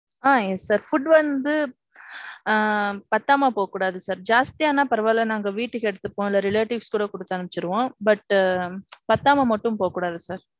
ஆ. yes sir. Food வந்து. ஆ. பத்தாம போகக்கூடாது sir. ஜாஸ்தி ஆனா பரவா இல்ல நாங்க வீட்டுக்கு எடுத்துட்டு போவோம் இல்ல relatives கூட குடுத்து அனுப்பிருவோம். But பத்தாம மட்டும் போக கூடாது sir.